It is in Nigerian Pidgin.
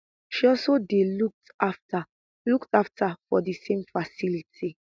she also dey looked afta looked afta for di same facility